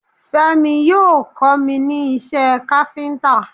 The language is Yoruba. Fẹ́mi yóò kọ́ mi ní iṣẹ́ káfíntà.